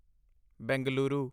Bengaluru